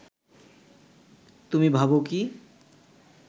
তুমি ভাব কি